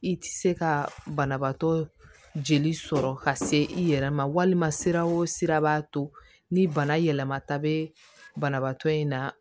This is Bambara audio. I tɛ se ka banabaatɔ jeli sɔrɔ ka se i yɛrɛ ma walima sira o sira b'a to ni bana yɛlɛmata bɛ banabaatɔ in na